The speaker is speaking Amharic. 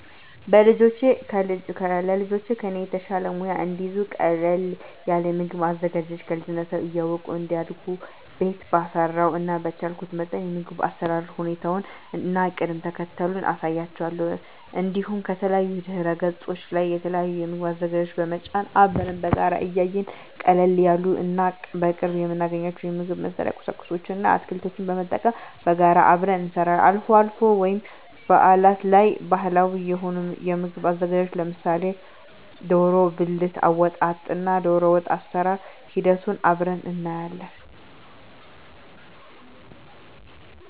ለልጆቼ ከኔ የተሻለ ሙያ እንዲይዙ ቀለል ያለ የምግብ አዘገጃጀት ከልጅነታቸው እያወቁ እንዲያድጉ ቤት ባፈራው እና በቻልኩት መጠን የምግብ አሰራር ሁኔታውን እና ቅደም ተከተሉን አሳያቸዋለሁ። እንዲሁም ከተለያዩ ድህረገጾች ላይ የተለያዩ የምግብ አዘገጃጀት በመጫን አብረን በጋራ እያየን ቀለል ያሉ እና በቅርቡ የምናገኛቸውን የምግብ መስሪያ ቁሳቁስ እና አትክልቶችን በመጠቀም በጋራ አብረን እንሰራለን። አልፎ አልፎ ወይም በአላት ላይ ባህላዊ የሆኑ የምግብ ዝግጅቶችን ለምሳሌ ደሮ ብልት አወጣጥ እና ደሮወጥ አሰራር ሂደቱን አብረን እናያለን።